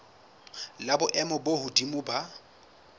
la boemo bo hodimo la